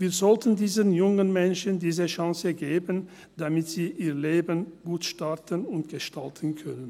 Wir sollten diesen jungen Menschen diese Chance geben, damit sie ihr Leben gut starten und gestalten können.